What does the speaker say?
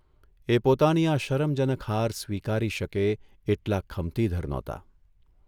એ પોતાની આ શરમજનક હાર સ્વીકારી શકે એટલા ખમતીધર નહોતા.